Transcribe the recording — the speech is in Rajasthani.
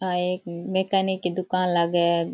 आ एक मैकेनक की दुकान लाग है।